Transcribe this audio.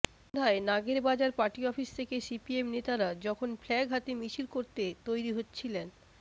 সন্ধ্যায় নাগেরবাজার পার্টি অফিসে থেকে সিপিএম নেতারা যখন ফ্ল্যাগ হাতে মিছিল করতে তৈরি হচ্ছিলেন